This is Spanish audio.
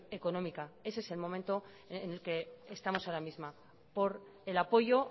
económica ese es el momento en el que estamos ahora mismo por el apoyo